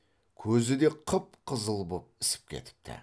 көзі де қып қызыл боп ісіп кетіпті